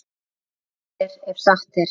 Vont er ef satt er.